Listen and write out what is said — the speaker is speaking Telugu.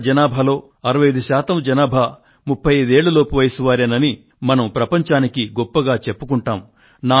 భారతదేశ జనాభాలో 65 శాతం జనాభా 35 ఏళ్ళ లోపు వయస్సు వారేనని మనం ప్రపంచానికి గొప్పగా చెప్పుకొంటాము